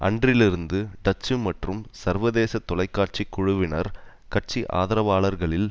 அன்றிலிருந்து டச்சு மற்றும் சர்வதேச தொலைக்காட்சி குழுவினர் கட்சி ஆதரவாளர்களில்